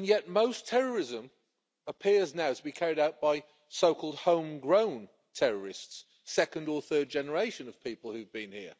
yet most terrorism appears now to be carried out by so called home grown terrorists, of the second or third generation of people who've been here.